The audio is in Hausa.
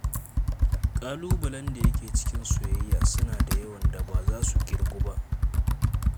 Ƙalubalen da yake cikin soyayya suna da yawan da ba za su ƙirgu ba.